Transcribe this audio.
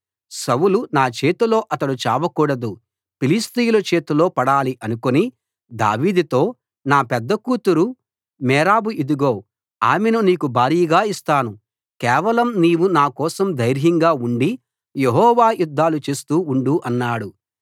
సౌలు నా చేతిలో అతడు చావకూడదు ఫిలిష్తీయుల చేతిలో పడాలి అనుకుని దావీదుతో నా పెద్ద కూతురు మేరబు ఇదిగో ఆమెను నీకు భార్యగా ఇస్తాను కేవలం నీవు నా కోసం ధైర్యంగా ఉండి యెహోవా యుద్ధాలు చేస్తూ ఉండు అన్నాడు